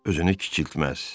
Özünü kiçiltməz.